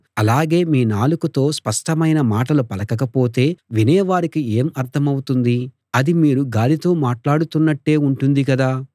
అలాగే మీ నాలుకతో స్పష్టమైన మాటలు పలకకపోతే వినేవారికి ఏం అర్థమౌతుంది అది మీరు గాలితో మాట్లాడుతున్నట్టే ఉంటుంది కదా